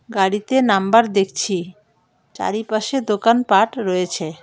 গাড়িতে নাম্বার দেখছি চারিপাশে দোকানপাট রয়েছে।